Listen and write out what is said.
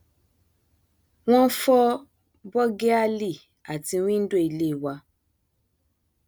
wọn fọ bọgíálí àti wíńdò ilé wa